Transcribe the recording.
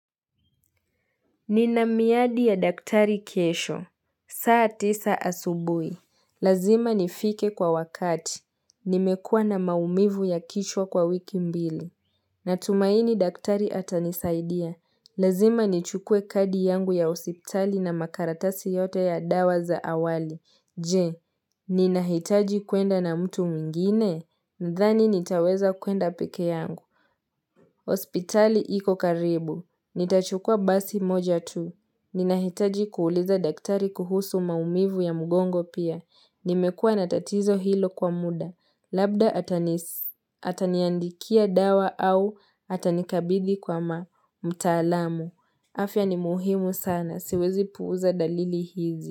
Nina miadi ya daktari kesho, saa tisa asubuhi Lazima nifike kwa wakati. Nimekua na maumivu ya kichwa kwa wiki mbili. Natumaini daktari atanisaidia. Lazima nichukue kadi yangu ya hospitali na makaratasi yote ya dawa za awali. Je, ninahitaji kwenda na mtu mwingine? Nadhani nitaweza kwenda peke yangu. Hospitali iko karibu. Nitachukua basi moja tu. Ninahitaji kuuliza daktari kuhusu maumivu ya mgongo pia. Nimekua na tatizo hilo kwa muda. Labda ataniandikia dawa au atanikabidhi kwa mtaalamu. Afya ni muhimu sana. Siwezi puuza dalili hizi.